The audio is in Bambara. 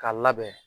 K'a labɛn